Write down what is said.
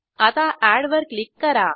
आता एड वर क्लिक करा